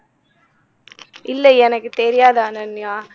இல்லையே எனக்கு தெரியாது அனன்யா